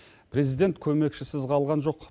президент көмекшісіз қалған жоқ